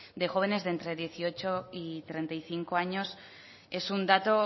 de jóvenes de entre dieciocho y treinta y cinco años es un dato